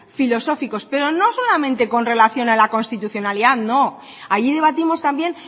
filosóficos pero no solamente con relación a la constitucionalidad no allí debatimos también